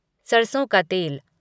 सरसों का तेल